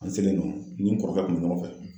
An selen yen nɔ, n ni n kɔrɔkɛ kun be ɲɔgɔn fɛ.